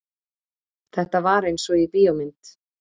Þetta var einsog í bíómynd.